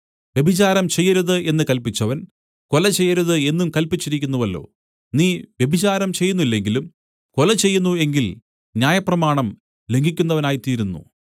വ്യഭിചാരം ചെയ്യരുത് എന്നു കല്പിച്ചവൻ കൊല ചെയ്യരുത് എന്നും കല്പിച്ചിരിക്കുന്നുവല്ലോ നീ വ്യഭിചാരം ചെയ്യുന്നില്ലെങ്കിലും കൊല ചെയ്യുന്നു എങ്കിൽ ന്യായപ്രമാണം ലംഘിക്കുന്നവനായിത്തീരുന്നു